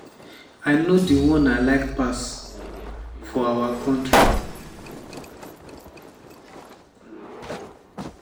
"i know di one i like pass for our our kontri.”